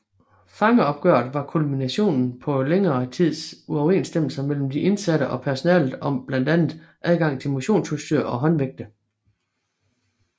Fangeoprøret var kulminationen på længere tids uoverensstemmelser mellem de indsatte og personalet om blandt andet adgangen til motionsudstyr og håndvægte